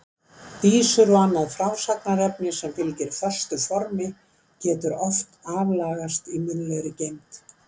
Vísur og annað frásagnarefni sem fylgir föstu formi getur oft aflagast í munnlegri geymd.